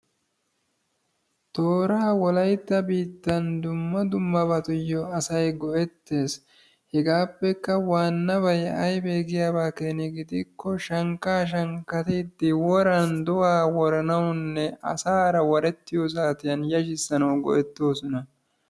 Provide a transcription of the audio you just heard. Tooraa wolaytta biittaan asay dumma dummabatuyo go'etees. hegaappekka wanabay aybe giyabakeni gidiko shankka shankkatidi woraan do'a woranawunne asaara warettiyo saatiyan yashisanawu go'etosona.